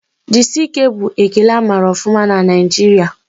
Jisike' bụ ekele amara ọfụma na Naijiria